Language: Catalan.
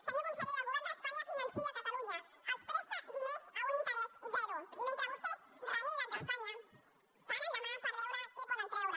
senyor conseller el govern d’espanya finança catalunya els presta diners a un interès zero i mentre vostès reneguen d’espanya paren la mà per veure què en poden treure